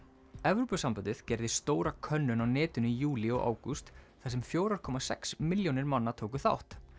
Evrópusambandið gerði stóra könnun á netinu í júlí og ágúst þar sem fjórar komma sex milljónir manna tóku þátt